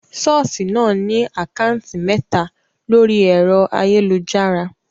Ṣọ́ọ̀ṣì náà ní àkátì mẹ́ta lórí ẹ̀rọ ayélujára.